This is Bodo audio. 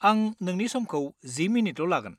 आं नोंनि समखौ 10 मिनिटल' लागोन।